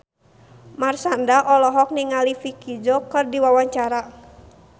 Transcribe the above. Marshanda olohok ningali Vicki Zao keur diwawancara